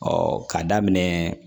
k'a daminɛ